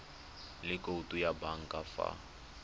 le khoutu ya banka fa